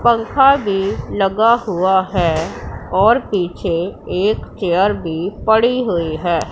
पंखा भी लगा हुआ है और पीछे एक चेयर भी पड़ी हुई है।